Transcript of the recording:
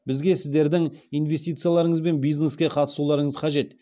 бізге сіздердің инвестицияларыңыз бен бизнеске қатысуларыңыз қажет